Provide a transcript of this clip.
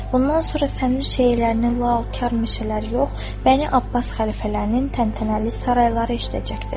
Bundan sonra sənin şeirlərini laübalı kar mühüşələr yox, Bəni-Abbas xəlifələrinin təntənəli sarayları eşidəcəkdir.